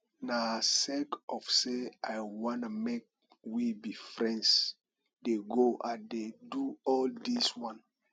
na sake of sey i wan make we be friends dey go i dey do all dis wan